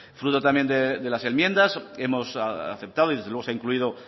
de las enmiendas hemos aceptado y desde luego se ha incluido